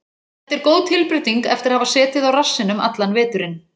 Þetta er góð tilbreyting eftir að hafa setið á rassinum allan veturinn.